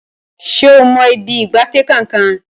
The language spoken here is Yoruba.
Ṣé o mọ ibi ìgbafẹ́ kankan?